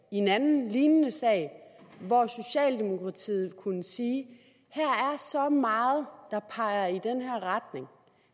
i en anden lignende sag hvor socialdemokratiet kunne sige her er så meget der peger i den her retning